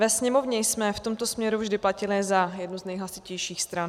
Ve Sněmovně jsme v tomto směru vždy platili za jednu z nejhlasitějších stran.